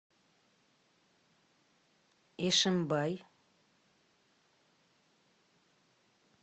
ишимбай